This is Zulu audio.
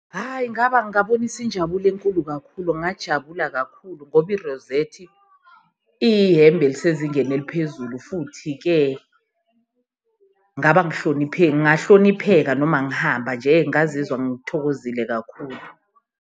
Hhayi! Ngabonisa injabulo enkulu kakhulu ngajabula kakhulu ngoba i-rosette iyihhembe elisezingeni eliphezulu, futhi-ke ngahlonipheka noma ngihamba nje ngazizwa ngithokozile kakhulu.